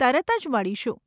તરત જ મળીશું.